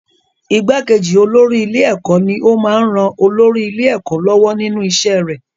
Igbákejì olórí ilé-ẹ̀kọ́ ní ó máa ń ran olórí ilé-ẹ̀kọ́ lọ́wọ́ nínú iṣẹ́ rẹ̀.